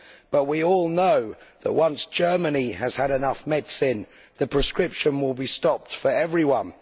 But we all know that once Germany has had enough medicine, the prescription will be stopped for everyone.